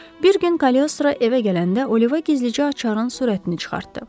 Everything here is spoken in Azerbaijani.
Bir gün Kaloestro evə gələndə Oliva gizlicə açarın surətini çıxartdı.